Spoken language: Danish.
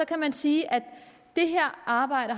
kan man sige at det her arbejde